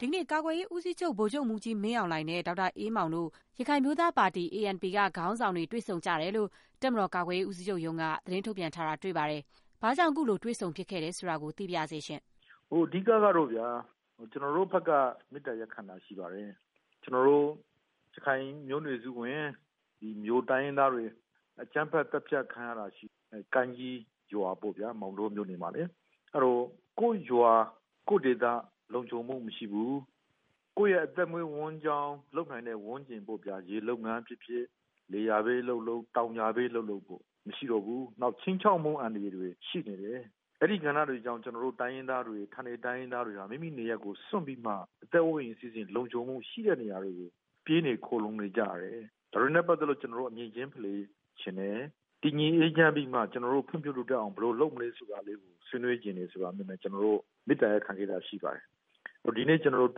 ဒီကနေ့ ကာကွယ်ရေးဦးစီးချုပ် ဗိုလ်ချုပ်မှူးကြီး မင်းအောင်လှိုင်နဲ့ ဒေါက်တာအေးမောင်တို့ ရခိုင်အမျိုးသားပါတီ က ခေါင်းဆောင်တွေ တွေ့ဆုံကြတယ်လို့ တပ်မတော်ကာကွယ်ရေး ဦးစီးချုပ်ရုံးက သတင်းထုတ်ပြန်ထားတာ တွေ့ရပါတယ်။ ဒီကနေ့ ဘာကြောင့် တွေ့ဆုံဖြစ်သလဲ ဆိုတာ သိပါရစေရှင့်။ “အဓိက ကတော့ဗျာ။ ကျနော်တို့ဘက်က မေတ္တာရပ်ခံတာရှိပါတယ်။ ကျနော်တို့ ရခိုင်မျိုးနွယ်စုဝင် မြို တိုင်းရင်းသားတွေ အကြမ်းဖက် သတ်ဖြတ် ခံရတာရှိတယ်။ ကိုင်းကြီးရွာမှာပေါ့ဗျာ။ မောင်တော မြို့နယ်မှာလေ။ အဲဒီတော့ ကိုယ့်ရွာ ကိုယ့်ဒေသ လုံခြုံမှု မရှိဘူး။ ကိုယ့်ရဲ့ အသက်မွေးဝမ်းကြောင်း လုပ်နိုင်တဲ့ ဝန်းကျင်ပေါ့ဗျာ… ရေလုပ်ငန်းဖြစ်ဖြစ်၊ လယ်ယာပဲလုပ်လုပ် တောင်ယာပဲ လုပ်လုပ်ပေါ့ မရှိတော့ဘူး။ နောက်ခြိမ်းခြောက်မှု အန္တရာယ်တွေ ရှိနေတယ်။ အဲဒီကဏ္ဍတွေကြောင့် ကျနော်တို့ တိုင်းရင်းသားတွေ၊ ဌာနေ တိုင်းရင်းသားတွေဟာ မိမိနေရပ်ကို စွန့်ပြီးမှ အသက်အိုးအိမ်စည်းစိမ် လုံခြုံမှုရှိတဲ့နေရာတွေကို ပြေးနေ ခိုလုံနေကြရတယ်။ ဒါတွေနဲ့ပတ်သက်လို့ ကျနော်တို့ အမြင်ချင်း ဖလှယ်ချင်တယ်။ တည်ငြိမ်အေးချမ်းပြီးမှ ကျနော်တို့ ဖွံ့ဖြိုးတိုးတက်အောင် ဘယ်လို လုပ်မလဲ ဆိုတာလေးကို ဆွေးနွေးချင်တယ် ဆိုတာမျိုးနဲ့ ကျနော်တို့ မေတ္တာရပ်ခံခဲ့တာရှိပါတယ်။ ဒီကနေ့ ကျနော်တို့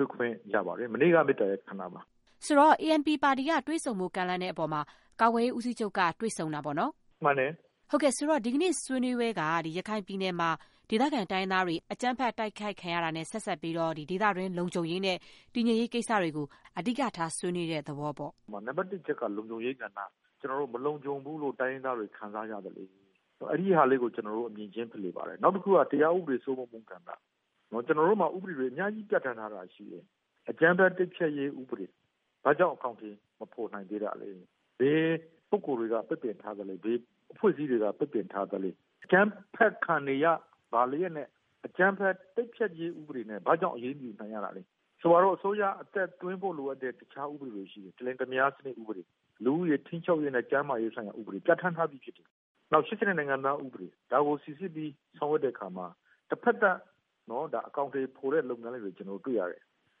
တွေ့ခွင့်ရပါတယ်။ မနေ့က မေတ္တာရပ်ခံတာပါ။” ဆိုတော့ ANP ပါတီက တွေ့ဆုံဖို့ ကမ်းလှမ်းတဲ့အပေါ်မှာ ကာကွယ်ရေးဦးစီးချုပ်က အခုလို တွေ့ဆုံတာပေါ့။ “မှန်တယ်။” ဟုတ်ကဲ့။ အဲဒီတော့ ဒီကနေ့ ဆွေးနွေးပွဲက ရခိုင်ပြည်နယ်မှာ ဒေသခံ တိုင်းရင်းသားတွေ အကြမ်းဖက် တိုက်ခိုက်ခံရတာနဲ့ ဆက်စပ်ပြီး ဒေသတွင်း လုံခြုံရေးနဲ့ တည်ငြိမ်ရေးကိစ္စတွေကို အဓိကထား ဆွေးနွေးတဲ့သဘောပေါ့။ “နံပါတ်တစ်အချက်က လုံခြုံရေးကဏ္ဍ၊ မလုံခြုံဘူးလို့ ကျနော်တို့ တိုင်းရင်းသားတွေ ခံစားရသလို အဲဒီဟာလေးကို ကျနော်တို့ အမြင်ချင်း ဖလှယ်ပါတယ်။ နောက်တခုက တရားဥပဒေစိုးမိုးမှုကဏ္ဍ။ ကျနော်တို့မှာ ဥပဒေတွေ အများကြီး ပြဌာန်းထားတာရှိတယ်။ အကြမ်းဖက် တိုက်ဖျက်ရေးဥပဒေ ဘာကြောင့်အကောင်အထည် မဖော်နိုင်သေးတာလဲ။ ဘယ်ပုဂ္ဂိုလ်တွေက ပိတ်ပင်ထားသလဲ။ ဘယ်အဖွဲ့အစည်းတွေက ပိတ်ပင်ထားသလဲ။ အကြမ်းဖက်ခံနေရပါလျက်နဲ့ အကြမ်းဖက်တိုက်ဖျက်ရေး ဥပဒေနဲ့ ဘာကြောင့် အရေးမယူနိုင်ရတာလဲ။ ဆိုပါတော့ အစိုးရက အသက်သွင်းဖို့လိုအပ်တဲ့ တခြားဥပဒေတွေရှိတယ်။ တလင်တမယား ဥပဒေ။ လူဦးရေ ထိန်းချုပ်ရေးနဲ့ ကျန်းမာရေးဆိုင်ရာ ဥပဒေ ပြဌာန်းထားပြီးဖြစ်တယ်။ နောက် ၈၂ နိုင်ငံသားဥပဒေ။ ဒါကိုစိစစ်ပြီး ဆောင်ရွက်တဲ့အခါမှာ တဖက်သတ်အကောင်အထည် ဖော်တဲ့ လုပ်ငန်းလေးတွေ ကျနော်တို့ တွေ့ရတယ်။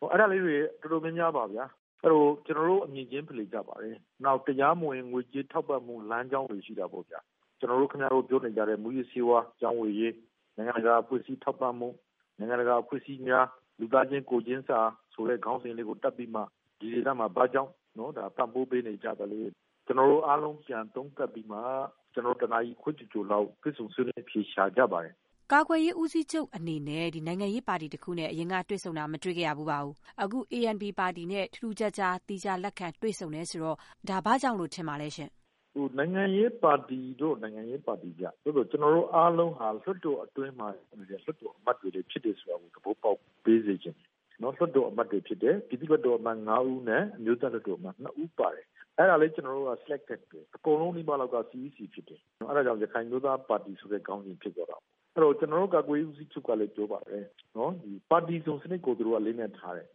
အဲဒါလေးတွေ တော်တော်များများပါပဲဗျာ။ အဲဒီတော့ ကျနော်တို့ အမြင်ချင်း ဖလှယ်ကြပါတယ်။ နောက် တရားမဝင် ငွေကြေးထောက်ပံ့မှု လမ်းကြောင်းတွေ ရှိတာပေါ့ဗျာ။ ကျနော်တို့ ခင်ဗျားတို့ ပြောနေကြတဲ့ မူးယစ်ဆေးဝါး ရောင်းဝယ်ရေး၊ နိုင်ငံတကာ အဖွဲ့အစည်း ထောက်ပံ့မှု၊ နိုင်ငံတကာအဖွဲ့အစည်းများ လူသားချင်းကိုယ်ချင်းစာ ဆိုတဲ့ ခေါင်းစဉ်ကို တပ်ပြီးမှ ဒီဒေသမှာ ဘာကြောင့် ပံ့ပိုးပေးနေကြသလဲ။ ကျနော်တို့အားလုံး ပြန်သုံးသပ်ပြီးမှ ကျနော်တို့ တနာရီခွဲ ကျော်ကျော်လောက် တွေ့ဆုံ ဆွေးနွေး အဖြေရှာကြပါတယ်။” ကာကွယ်ရေးဦးစီးချုပ်အနေနဲ့ နိုင်ငံရေးပါတီတခုနဲ့ အရင်က တွေ့ဆုံတာ မတွေ့ခဲ့ရဖူးပါဘူး။ အခု ANP ပါတီနဲ့ ထူးထူးခြားခြား သီးခြား လက်ခံ တွေ့ဆုံတယ်ဆိုတော့ ဒါ ဘာကြောင့်လို့ ထင်ပါလဲရှင်။ “နိုင်ငံရေးပါတီတော့ နိုင်ငံရေးပါတီဗျ။ သို့သော် ကျနော်တို့အားလုံးက လွှတ်တော်အတွင်းမှာ ရောက်နေတဲ့ လွှတ်တော်အမတ်တွေလည်း ဖြစ်တယ်ဆိုတာကို သဘောပေါက်ပေးစေချင်တယ်။ လွှတ်တော်အမတ်တွေ ဖြစ်တယ်။ ပြည်သူ့လွှတ်တော်အမတ် ၅ ဦးနဲ့ အမျိုးသားလွှတ်တော် အမတ် ၂ ဦး ပါတယ်။ အဲဒါလည်း ကျနော်တို့က selected ပဲ။ အကုန်လုံးနီးပါးလောက်က CEC ဖြစ်တယ်။ အဲဒါကြောင့် ရခိုင်အမျိုးသားပါတီ ဆိုတဲ့ခေါင်းစဉ် ဖြစ်သွားတာပေါ့။ အဲဒီတော့ ကျနော်တို့ ကာကွယ်ရေးဦးစီးချုပ်ကလည်း ပြောပါတယ်.. ပါတီစုံစနစ်ကို သူတို့က အလေးအနက်ထားတယ်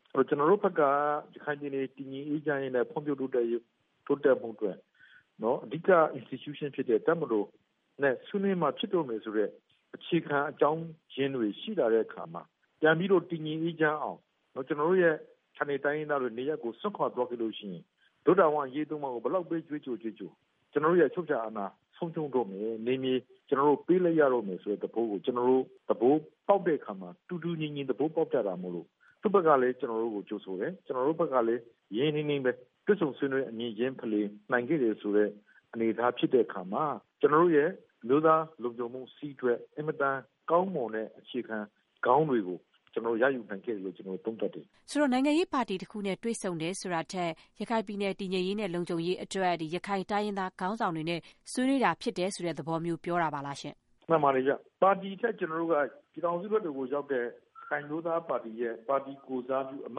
။ အဲဒီတော့ ကျနော်တို့ဘက်က ရခိုင်ပြည်နယ် တည်ငြိမ်အေးချမ်းရေးနဲ့ ဖွံ့ဖြိုးတိုးတက်ဖို့အတွက် အဓိက institution ဖြစ်တဲ့ တပ်မတော်နဲ့ ဆွေးနွေးမှဖြစ်တော့မယ်ဆိုတဲ့ အခြေခံအကြောင်းရင်းတွေ ရှိလာတဲ့အခါမှာ ပြန်ပြီးတော့ တည်ငြိမ်အေးချမ်းအောင် ကျနော်တို့ရဲ့ ဌာနေတိုင်းရင်းသားတွေ နေရပ်ကို စွန့်ခွာသွားခဲ့လို့ရှိရင် တို့တာဝန်အရေးသုံးပါးကို ဘယ်လောက်ပဲ ကြွေးကြော်ကြွေးကြော် ကျနော်တို့ရဲ့ အချုပ်အချာအာဏာ ဆုံးရှုံးတော့မယ်။ နယ်မြေ ကျနော်တို့ ပေးလိုက်ရတော့မယ် ဆိုတဲ့သဘောကို ကျနော်တို့ သဘောပေါက်တဲ့အခါမှာ တူတူညီညီ သဘောပေါက်ကြတာမိုလို့ သူ့ဘက်ကလည်း ကျနော်တို့ကို ကြိုဆိုတယ်။ ကျနော်တို့ဘက်ကလည်း ရင်းရင်းနှီးနှီးပဲ တွေ့ဆုံဆွေးနွေး အမြင်ချင်းဖလှယ်နိုင်ခဲ့တယ်ဆိုတဲ့ အနေအထား ဖြစ်ခဲ့တဲ့အခါမှာ ကျနော်တို့ရဲ့ အမျိုးသားလုံခြုံမှုစည်းအတွက် အင်မတန် ကောင်းမွန်တဲ့ အခြေခံကောင်းတွေကို ကျနော်တို့ ရယူနိုင်ခဲ့တယ်လို့ ကျနော်တို့ သုံးသပ်တယ်။” ဟုတ်ကဲ့။ ဆိုတော့ နိုင်ရေးပါတီတခုနဲ့ တွေ့ဆုံတယ်ဆိုတာထက် ရခိုင်ပြည်နယ် တည်ငြိမ်ရေးနဲ့ လုံခြုံရေးအတွက် ရခိုင်တိုင်းရင်းသား ခေါင်းဆောင်တွေနဲ့ ဆွေးနွေးတာဖြစ်တယ်ဆိုတဲ့ သဘောမျိုး ပြောချင်တာပါလားရှင့်။ “မှန်ပါတယ်ဗျ။ ပါတီထက် ကျနော်တို့က ပြည်ထောင်စုလွှတ်တော်ကိုရောက်တဲ့ ရခိုင်အမျိုးသားပါတီရဲ့ ပါတီကိုယ်စားပြု အမ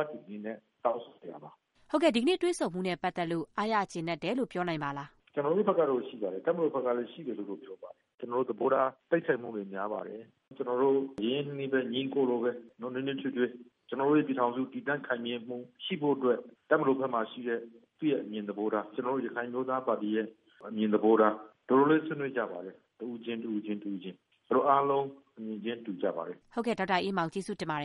တ်တွေ အနေနဲ့ တောင်းဆိုနေတာပါ။” ဟုတ်ကဲ့ ဒီကနေ့ တွေ့ဆုံမှုနဲ့ ပတ်သက်လို့ အားရကျေနပ်တယ်လို့ ပြောနိုင်ပါလား။ “ကျနော်တို့ဘက်က ရှိပါတယ်။ တပ်မတော်ဘက်ကလည်း ရှိတယ်လို့ ပြောပါတယ်။ ကျနော်တို့ သဘောထား တိုက်ဆိုင်မှုတွေ များပါတယ်။ ကျနော်တို့ ရင်းရင်းနှီးနှီးပဲ ညီအစ်ကိုလိုပဲ နွေးနွေးထွေးထွေး ကျနော်တို့ရဲ့ပြည်ထောင်စု တည်တံ့ခိုင်မြဲမှု ရှိဖို့အတွက် တပ်တော်ဘက်မှာရှိတဲ့ သူ့ရဲ့အမြင်သဘောထား၊ ကျနော်တို့ ရခိုင်အမျိုးသားပါတီ ရဲ့ အမြင်သဘောထား တော်တော်လေး ဆွေးနွေးကြပါတယ်။ တဦးချင်း တဦးချင်း ကပေါ့။ ဆိုတော့ အားလုံး အမြင်ချင်းတူကြပါတယ်။” ဒေါက်တာအေးမောင် ကျေးဇူးတင်ပါတယ်